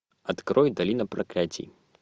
открой долина проклятий